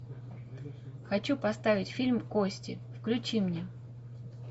хочу поставить фильм кости включи мне